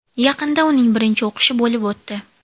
Yaqinda uning birinchi o‘qishi bo‘lib o‘tdi.